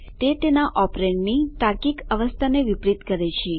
તે તેના ઓપરેંડની તાર્કીક અવસ્થાને વિપરીત કરે છે